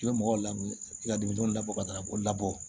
I bɛ mɔgɔw lamun i ka denmisɛnninw labɔ ka taga o labɔ